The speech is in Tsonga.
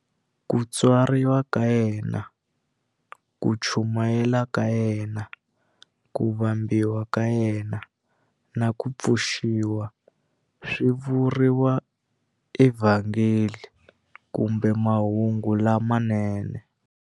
Ku tswariwa ka yena, ku chumayela ka yena, ku vambiwa ka yena, na ku pfuxiwa swi vuriwa eVhangeli kumbe Mahungu lamanene.